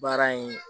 Baara in